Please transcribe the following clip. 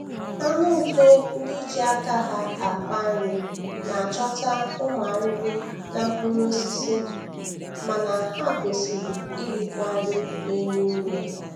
Anụ ufe ndị ji aka ha akpa nri na-achọta ụmụ arịrị na mkpụrụosisi, mana ha kwesiri irikwa nri na-enye ume.